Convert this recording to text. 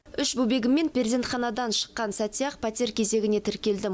үш бөбегіммен перзентханадан шыққан сәтте ақ пәтер кезегіне тіркелдім